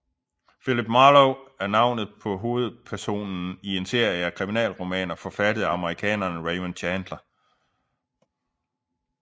Philip Marlowe er navnet på hovedpersonen i en serie af kriminalromaner forfattet af amerikaneren Raymond Chandler